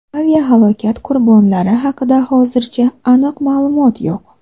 Aviahalokat qurbonlari haqida hozircha aniq ma’lumot yo‘q.